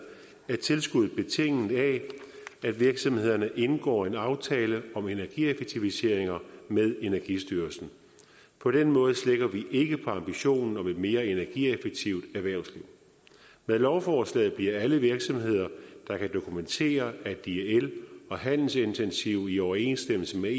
er tilskuddet betinget af at virksomhederne indgår en aftale om energieffektiviseringer med energistyrelsen på den måde slækker vi ikke på ambitionen om et mere energieffektivt erhvervsliv med lovforslaget bliver alle virksomheder der kan dokumentere at de er el og handelsintensive i overensstemmelse med